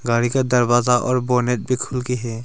गाड़ी का दरवाजा और बोनट भी खुल गई है।